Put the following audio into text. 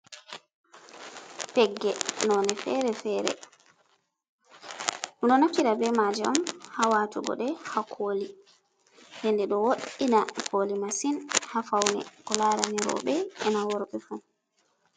Pegge nonde fere-fere. Ɗo naftira be maje on hawatugo ɗe ha koli, nde ɗo woddina koli masin ha faune ko larani robe, ena worbe fu.